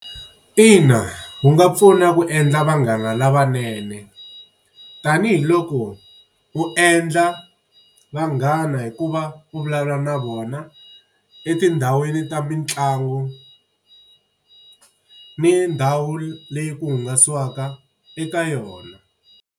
Ina wu nga pfuna ku endla vanghana lavanene tanihiloko u endla vanghana hikuva u vulavula na vona, etindhawini ta mitlangu ni ndhawu leyi ku hangalasiwaka eka yona.